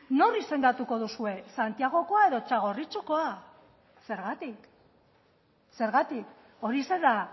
nor izendatuko duzue santiagokoa edo txagorritxukoa zergatik zergatik hori ze da